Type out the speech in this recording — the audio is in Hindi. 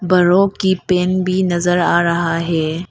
बड़ों की पैंट भी नजर आ रहा है।